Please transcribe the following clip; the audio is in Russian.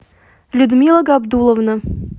людмила габдулловна